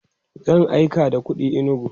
zan aika da kuɗi inugu